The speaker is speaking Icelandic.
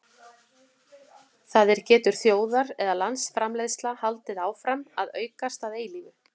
það er getur þjóðar eða landsframleiðsla haldið áfram að aukast að eilífu